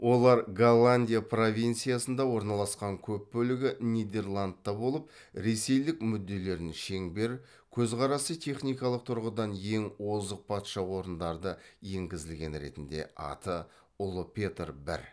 олар голландия провинциясында орналасқан көп бөлігі нидерландта болып ресейлік мүдделерін шеңбер көзқарасы техникалық тұрғыдан ең озық патша орындарды енгізілген ретінде аты ұлы петр бір